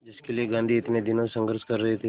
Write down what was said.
जिसके लिए गांधी इतने दिनों से संघर्ष कर रहे थे